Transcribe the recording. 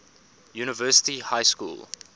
university high school